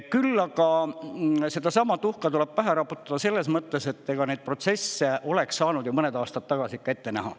Küll aga sedasama tuhka tuleb pähe raputada selles mõttes, et ega neid protsesse oleks saanud ju mõned aastad tagasi ikka ette näha.